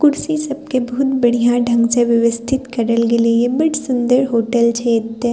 कुर्सी सब के बहुत बढ़िया ढंग से व्यवस्थित करल गेलई हे बड सुंदर होटल छे एते।